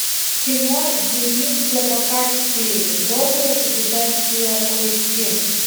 кино дневник слабака четыре долгое путешествие поищи